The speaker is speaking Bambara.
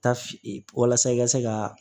Ta f walasa i ka se ka